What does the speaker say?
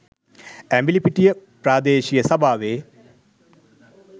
ඇඹිලිපිටිය ප්‍රාදේශීය සභාවේ